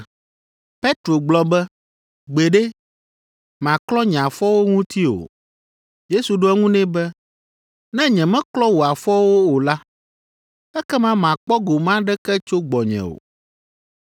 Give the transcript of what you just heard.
Petro gblɔ be, “Gbeɖe, màklɔ nye afɔwo ŋuti o.” Yesu ɖo eŋu nɛ be, “Ne nyemeklɔ wò afɔwo o la, ekema màkpɔ gome aɖeke tso gbɔnye o.”